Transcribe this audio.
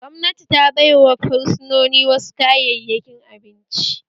Gwamnati ta baiwa fursunoni wasu kayayyakin abinci